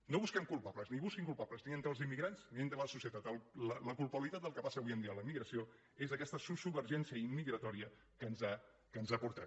no busquem culpables ni busquin culpables ni entre els immigrants ni entre la societat la culpabilitat del que passa avui en dia amb la immigració és aquesta sociovergència immigratòria que ens ha portat